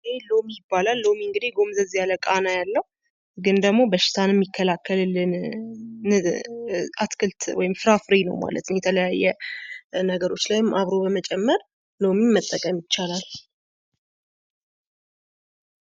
ይህ ሎሚ ይባላል። ሎሚ እንግዲህ ጎምዘዝ ያለ ቃና ያለው፤ ግን ደግሞ በሽታን የሚከላከልልን አትክልት ወይም ደግሞ ፍራፍሬ ነው ማለት ነው። ከተለያዩ ነገሮች ጋር አብሮ በመጨመር ሎሚን መጠቀም ይቻላል ።